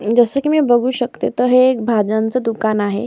जस की मी बघू शकते तर हे एक भाज्यांच दुकान आहे.